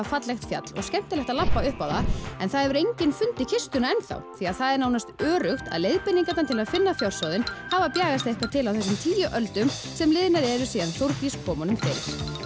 fallegt fjall og skemmtilegt að labba upp á það en það hefur enginn fundið kistuna því það er nánast öruggt að leiðbeiningarnar til að finna fjársjóðinn hafa bjagast eitthvað til á þessum tíu öldum sem liðnar eru síðan Þórdís kom honum fyrir